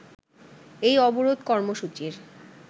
এই অবরোধ কর্মসূচির